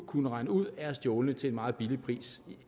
kunne regne ud er stjålne til en meget lav pris